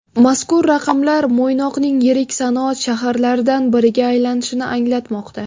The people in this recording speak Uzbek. Mazkur raqamlar Mo‘ynoqning yirik sanoat shaharlaridan biriga aylanishini anglatmoqda.